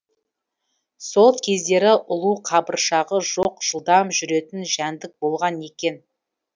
сол кездері ұлу қабыршағы жоқ жылдам жүретін жәндік болған екен